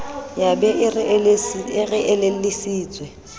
ya be e re elellisitswe